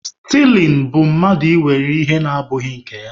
Stiling bụ mmadụ ịwe ihe na abụghị nke ya.